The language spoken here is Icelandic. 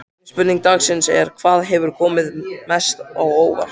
Seinni spurning dagsins er: Hvað hefur komið mest á óvart?